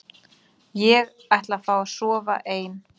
Ég ætla að fá að sofa ein